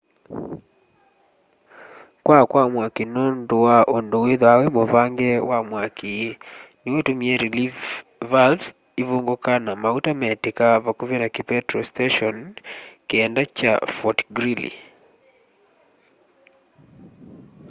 kwaa kwa mwaki nundu wa undu withwaa wi muvange wa mwaki niw'o utumie relief valves ivunguka na mauta metika vakuvi na kipetro station 9 kya fort greely